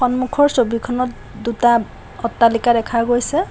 সন্মুখৰ ছবিখনত দুটা অট্টালিকা দেখা গৈছে।